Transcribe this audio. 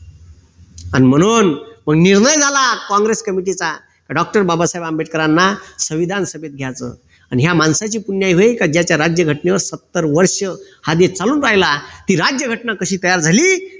म्हणून निर्णय झाला काँग्रेस committee चा doctor बाबासाहेब आंबेडकरांना संविधान सभेत घ्यायचं अन ह्या माणसाची पुण्याई होय की ज्याच्या राज्यघटनेवर सत्तर वर्ष हा राहिला ती राज्यघटना कशी तयार झाली